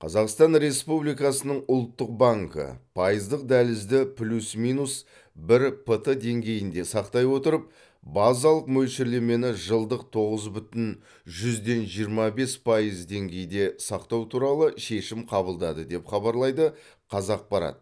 қазақстан республикасының ұлттық банкі пайыздық дәлізді плюс минус бір п т деңгейінде сақтай отырып базалық мөлшерлемені жылдық тоғыз бүтін жүзден жиырма бес пайыз деңгейде сақтау туралы шешім қабылдады деп хабарлайды қазақпарат